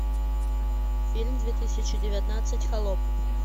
фильм две тысячи девятнадцать холоп